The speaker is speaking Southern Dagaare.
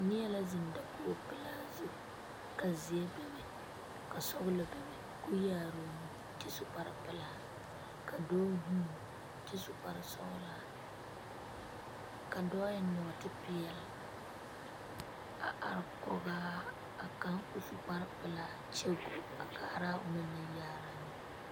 Neɛ la zeŋ dakoo pɛlaa zu ka zeɛ be be ka sɔgelɔ be be ka o yaare o nu kyɛ su kparre pelaa ka dɔɔ vuuni kyɛ su kparre sɔgelɔ ka dɔɔ eŋ nɔɔte peɛlɛ a are koŋaa a kaŋa ka o su kparre pelaa kyɛ go a kaara onaŋ nu yaaraa